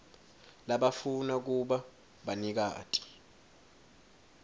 labafuna kuba banikati